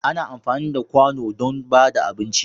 Ana amfani da ƙwano don ba da abinci.